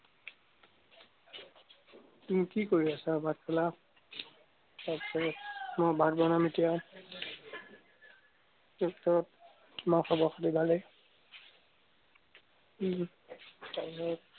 তুমি কি কৰি আছা, ভাত খালা? মই ভাত বনাম এতিয়া।